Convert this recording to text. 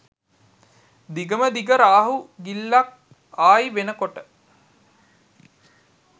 දිගම දිග රාහු ගිලිල්ලක් ආයි වෙනකොට